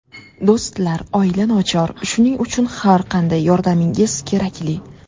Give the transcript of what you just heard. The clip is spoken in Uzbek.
Do‘stlar, oila nochor, shuning uchun har qanday yordamingiz kerakli.